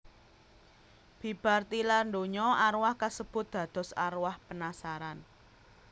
Bibar tilar donya arwah kasebut dados arwah penasaran